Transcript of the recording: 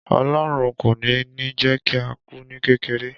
Olorun kò ní ni jé kí á kù ni kékeré